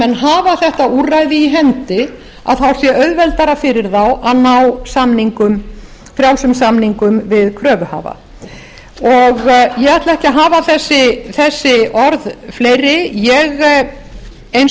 menn hafa þetta úrræði í hendi þá sé auðveldara fyrir þá að ná frjálsum samningum við kröfuhafa ég ætla ekki að hafa þessi orð fleiri ég eins og